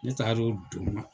Ne taaro don